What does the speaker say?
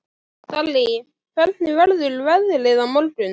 Dalí, hvernig verður veðrið á morgun?